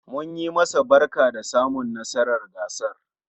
Munyi masa barka da samun nasarar gasar